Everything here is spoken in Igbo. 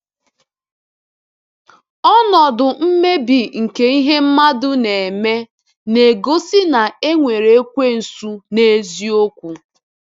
Ọnọdụ mmebi nke ihe mmadụ na-eme na-egosi na e nwere Ekwensu n’eziokwu.